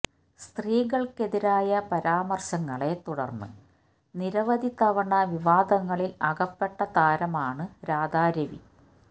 സ്ത്രീകൾക്കെതിരായ പരാമർശങ്ങളെ തുടർന്ന് നിരവധി തവണ വിവാദങ്ങളിൽ അകപ്പെട്ട താരമാണ് രാധാ രവി